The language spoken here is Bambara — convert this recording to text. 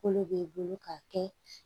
Kolo b'i bolo k'a kɛ